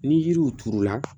Ni yiriw turula